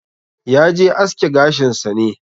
Yaje aske gashin sa ne.